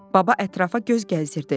Baba ətrafa göz gəzdirdi.